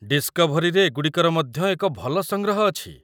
ଡିସ୍‌କଭରୀରେ ଏଗୁଡ଼ିକର ମଧ୍ୟ ଏକ ଭଲ ସଂଗ୍ରହ ଅଛି।